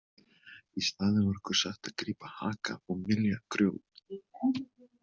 Í staðinn var okkur sagt að grípa haka og mylja grjót.